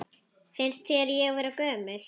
Finnst þér ég vera gömul?